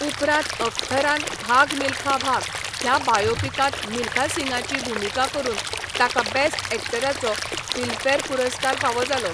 उपरांत अख्तरान 'भाग मिलखा भाग' ह्या बायोपिकांत मिल्खा सिंगाची भुमिका करून ताका बेस्ट एक्टराचो फिल्मफेअर पुरस्कार फावो जालो.